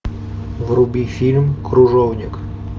вруби фильм кружовник